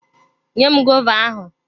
Nyem gova ahụ!